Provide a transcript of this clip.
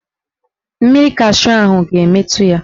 Mmiri cashu ahụ ga-emetu ya.